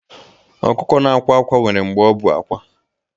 Ọkụkọ na-akwa ákwá nwere mgbe ọ bụ àkwá